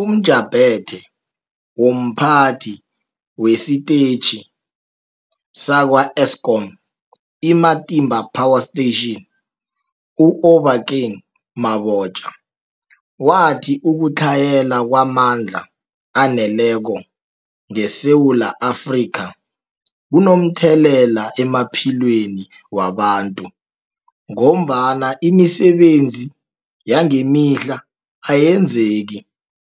UmJaphethe womPhathi wesiTetjhi sakwa-Eskom i-Matimba Power Station u-Obakeng Mabotja wathi ukutlhayela kwamandla aneleko ngeSewula Afrika kunomthelela emaphilweni wabantu ngombana imisebenzi yangemihla ayenzeki